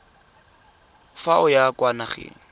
fa o ya kwa nageng